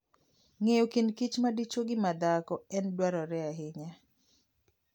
Ng'eyo kind kich madichuo gi madhako en dwarore ahinya.